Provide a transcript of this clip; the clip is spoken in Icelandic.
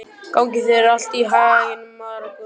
Gangi þér allt í haginn, Margunnur.